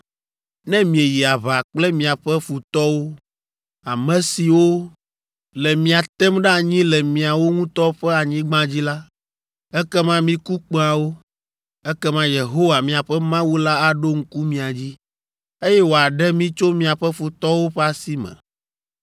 Ne mieyi aʋa kple miaƒe futɔwo, ame siwo le mia tem ɖe anyi le miawo ŋutɔ ƒe anyigba dzi la, ekema miku kpẽawo. Ekema Yehowa, miaƒe Mawu la aɖo ŋku mia dzi, eye wòaɖe mi tso miaƒe futɔwo ƒe asi me.